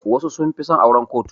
Wasu sun fi son auran kotu.